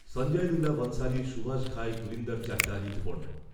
Sanjay Leela Bhansali, Subhash Ghai, Gurinder Chadha, Rituparno